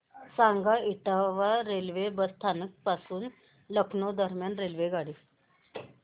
सांगा इटावा रेल्वे स्थानक पासून लखनौ दरम्यान रेल्वेगाडी